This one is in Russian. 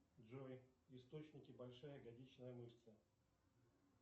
джой источники большая ягодичная мышца